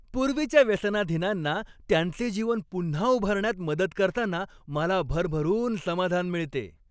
पूर्वीच्या व्यसनाधीनांना त्यांचे जीवन पुन्हा उभारण्यात मदत करताना मला भरभरून समाधान मिळते.